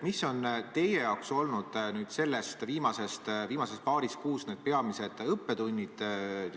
Mis on teie jaoks olnud viimase paari kuu peamised õppetunnid?